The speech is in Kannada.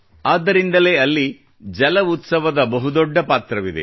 ಆದ್ದರಿಂದಲೇ ಅಲ್ಲಿ ಜಲ ಉತ್ಸವ ದ ಬಹು ದೊಡ್ಡ ಪಾತ್ರವಿದೆ